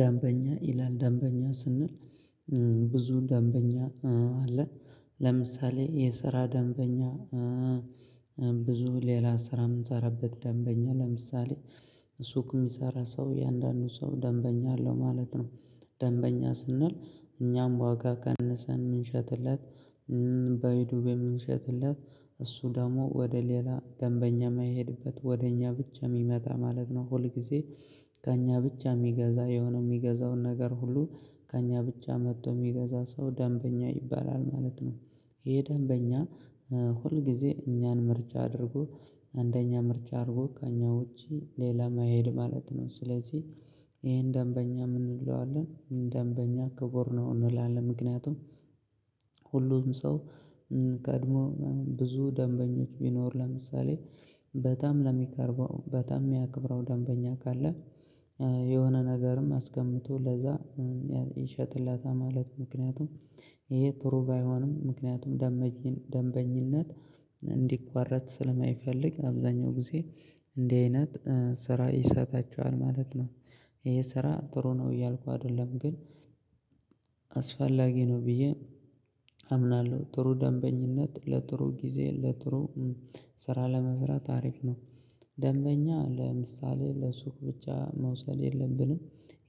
ደንበኛ ይላል ደንበኛ ስንል ብዙ ደንበኛ አለን ለምሳሌ የስራ ደንበኛ ብዙ ሌላ ስራ የምንሰራበት ደንበኛ ለምሳሌ ሱቅ የሚሰራ ሰው የእያንዳንዱ ሰው ደንበኛ አለው ማለት ነው። ደንበኛ ስንል እኛም ዋጋ ቀንሰን ምንሸጥለት። በዱቤ በምንሸጥለት እሱ ደግሞ ወደ ሌላ ደንበኛ የማይሄድበት ወደ እኛ ብቻ የሚመጣ ማለት ነው ሁል ጊዜ ከእኛ ብቻ የሚገዛ የሆነው የሚገዛውን ነገር ሁሉ ከእኛ ብቻ መጥቶ የሚገዛ ሰው ደንበኛ ይባላል ማለት ነው። ይሄ ደንበኛ ሁል ጊዜ እኛን ምርጫ አድርጎ አንደኛ ምርጫ አድርጎ ከእኛ ውጪ ሌላ ማይሄድ ማለት ነው። ስለዚህ ይሄን ደንበኛ ምን እንለዋለን ደንበኛ ክቡር ነው እንላለን ምክንያቱም ሁሉም ሰው ቀድሞ ብዙ ደንበኞች ቢኖር ለምሳሌ በጣም ለሚቀርበው በጣም የሚያከብረው ደንበኛ ካለ የሆነ ነገርም አስቀምጦ ለዛ ይሸጥለታል ማለት ነው። ምክንያቱም ይሄ ጥሩ ባይሆንም ምክንያቱም ደንበኝነት እንዲቋረጥ ስለማይፈልግ አብዛኛው ጊዜ እንዲህ አይነት ስራ ይሰጣቸዋል ማለት ነው። ይሄ ስራ ጥሩ ነው እያልኩ አይደለም ግን አስፈላጊ ነው ብዬ አምናለሁ ጥሩ ደንበኝነት ለጥሩ ጊዜ ለጥሩ ስራ ለመስራት አሪፍ ነው። ደንበኛ ለምሳሌ ለሱቅ ብቻ መውሰድ የለብንም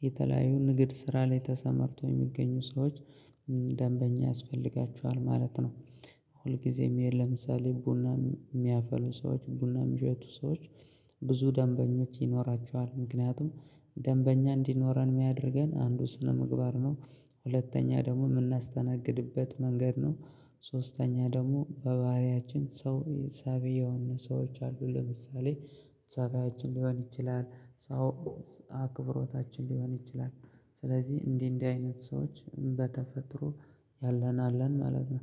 የተለያዩ ንግድ ስራ ላይ ተሰማርቶ የሚገኙ ሰዎች ደንበኛ ያስፈልጋቸዋል ማለት ነው። ሁልጊዜም ይሄን ለምሳሌ ቡና የሚያፈሉ ሰዎች ቡና የሚያሸጡ ሰዎች ብዙ ደንበኞች ይኖራቸዋል ምክንያቱም ደንበኛ እንዲኖረን የሚያደርገን አንዱ ስነምግባር ነው ሁለተኛ ደግሞ የምናስተናግድበት መንገድ ነው። ሶስተኛ ደግሞ በባህሪያችን ሰው ጸብየውን ሰዎች አሉ ለምሳሌ ጸባያችን ሊሆን ይችላል ሰው አክብሮታችን ሊሆን ይችላል ስለዚህ እንዲህ እንዲህ አይነት ሰዎች በተፈጥሮ ያለን አለን ማለት ነው